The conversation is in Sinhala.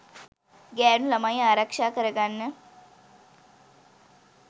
ගැහැනු ළමයි ආරක්ෂා කරගන්න